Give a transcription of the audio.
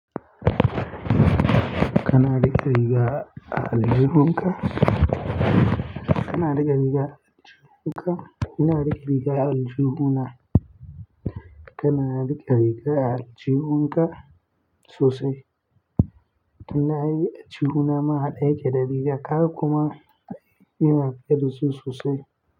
Kana riƙe riga a aljihunka? Kana riƙe riga a aljihunka? Ina riƙe riga a aljihuna? Kana riƙe riga a aljihunka sosai? Ina yi aljihuna ma haɗe yake da rigar kaga kuma ina fitaddasu sosai.